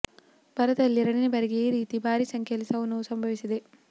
ಭಾರತದಲ್ಲಿ ಎರಡನೇ ಬಾರಿಗೆ ಈ ರೀತಿ ಭಾರಿ ಸಂಖ್ಯೆಯಲ್ಲಿ ಸಾವು ನೋವು ಸಂಭವಿಸಿದೆ